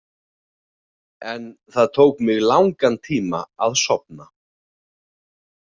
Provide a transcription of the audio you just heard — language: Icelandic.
En það tók mig langan tíma að sofna.